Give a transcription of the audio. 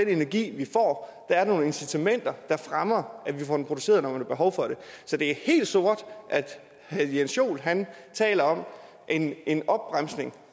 energi vi får er nogle incitamenter der fremmer at vi får den produceret når man har behov for det så det er helt sort at herre jens joel taler om en en opbremsning